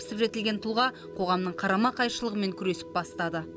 пісіп жетілген тұлға қоғамның қарама қайшылығымен күресіп бастады